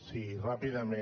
sí ràpidament